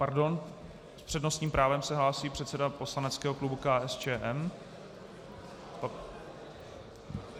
Pardon, s přednostním právem se hlásí předseda poslaneckého klubu KSČM.